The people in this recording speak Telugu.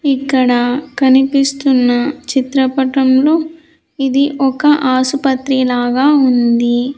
ఇక్కడ కనిపిస్తున్న చిత్రపటంలో ఇది ఒక ఆసుపత్రి లాగా ఉంది.